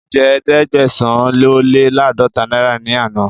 Mo jẹ Ẹ̀ẹ́dẹ̀gbẹ̀sán-ó-lé-láàdọ́ta náírà ní àná.